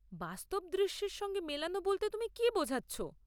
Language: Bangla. বাস্তব দৃশ্যের সঙ্গে মেলানো বলতে তুমি কি বোঝাচ্ছ?